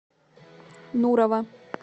нурова